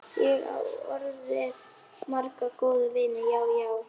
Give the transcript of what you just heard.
Ég á orðið marga góða vini, já, já.